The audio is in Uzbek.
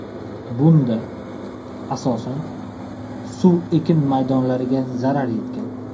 Bunda, asosan, suv ekin maydonlariga zarar yetgan.